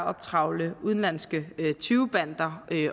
optrævle udenlandske tyvebander